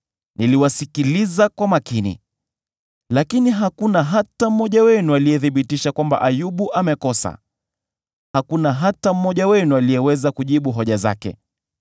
niliwasikiliza kwa makini. Lakini hakuna hata mmoja wenu aliyethibitisha kwamba Ayubu amekosa; hakuna hata mmoja wenu aliyeweza kujibu hoja zake.